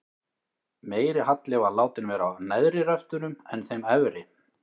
Meiri halli var látinn vera á neðri röftunum en þeim efri.